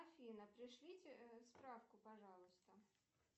афина пришлите справку пожалуйста